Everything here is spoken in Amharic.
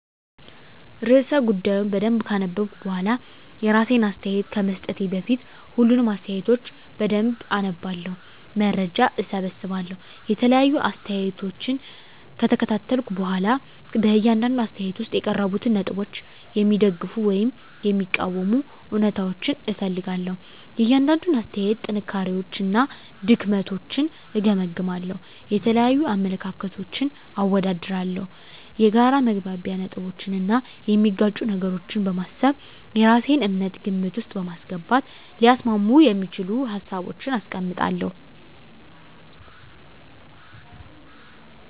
*ርዕሰ ጉዳዩን በደንብ ካነበብኩ በኋላ፤ *የራሴን አስተያየት ከመስጠቴ በፊት፦ ፣ሁሉንም አስተያየቶች በደንብ አነባለሁ፣ መረጃ እሰበስባለሁ የተለያዩ አስተያየቶችን ከተከታተልኩ በኋላ በእያንዳንዱ አስተያየት ውስጥ የቀረቡትን ነጥቦች የሚደግፉ ወይም የሚቃወሙ እውነታዎችን እፈልጋለሁ፤ * የእያንዳንዱን አስተያየት ጥንካሬዎችና ድክመቶችን እገመግማለሁ። * የተለያዩ አመለካከቶችን አወዳድራለሁ። የጋራ መግባቢያ ነጥቦችን እና የሚጋጩ ነገሮችን በማሰብ የራሴን እምነት ግምት ውስጥ በማስገባት ሊያስማሙ የሚችሉ ሀሳቦችን አስቀምጣለሁ።